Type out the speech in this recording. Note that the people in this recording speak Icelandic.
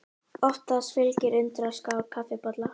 Oftast fylgir undirskál kaffibolla.